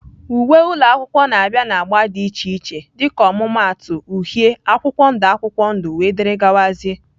Uwe ụlọ akwụkwọ na-abịa na agba dị iche iche dịka ọmụmaatụ uhie, akwụkwọ ndụ akwụkwọ ndụ, wdg